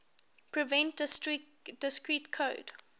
prevent discrete code